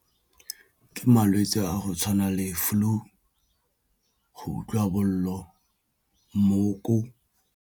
Ke malwetse a go tshwana le flue, go utlwa bolo, mooko.